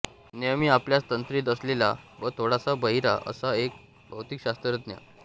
नेहमी आपल्याच तंद्रीत असलेला व थोडासा बहिरा असा एक भौतिकशास्त्रज्ञ